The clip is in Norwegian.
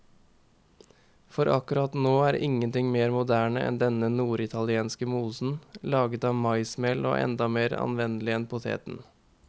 For akkurat nå er ingenting mer moderne enn denne norditalienske mosen, laget av maismel og enda mer anvendelig enn poteten.